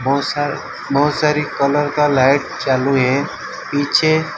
बहुत सार सारी कलर का लाइट चालू है पीछे।